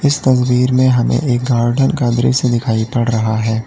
इस तस्वीर में हमें गार्डन का दृश्य दिखाई पड़ रहा है।